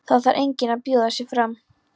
Það þarf enginn að bjóða sig fram.